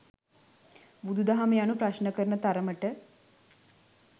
බුදු දහම යනු ප්‍රශ්න කරන තරමට